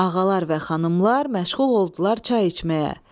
Ağalar və xanımlar məşğul oldular çay içməyə.